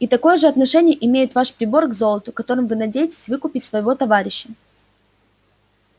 и такое же отношение имеет ваш прибор к золоту которым вы надеетесь выкупить своего товарища